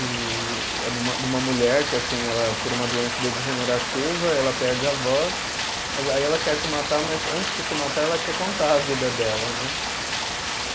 E e é de uma, de uma mulher que assim, ela por uma doença degenerativa, ela perde a voz, mas aí ela quer se matar, mas antes de se matar ela quer contar a vida dela, né?